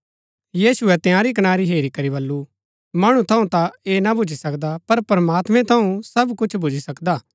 यीशुऐ तंयारी कनारी हेरी करी बल्लू मणु थऊँ ता ऐह ना भूच्ची सकदा पर प्रमात्मैं थऊँ सब कुछ भूच्ची सकदा